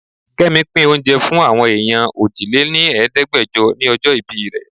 Kẹ́mi pín oúnjẹ fún àwọn èèyàn òjì-lé-ní-Ẹ̀ẹ́dẹgbejo ni ọjọ́ ìbí rẹ.